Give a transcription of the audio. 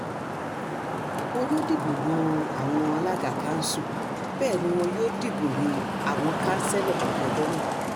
wọn yóò dìbò yan àwọn alága kanṣu bẹ́ẹ̀ ni wọn yóò dìbò yan àwọn kanṣẹ́lò lọ́jọ́ náà